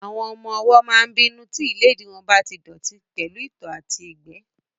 Àwọn ọmọ-ọwọ́ máa n bínú tí ìléèdí wọn bá tí dọ̀ọ̀tí pẹ̀lú ìtọ̀ àti ìgbẹ́